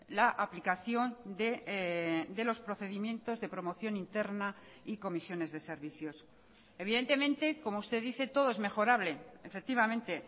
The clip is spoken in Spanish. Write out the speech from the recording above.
la aplicación de los procedimientos de promoción interna y comisiones de servicios evidentemente como usted dice todo es mejorable efectivamente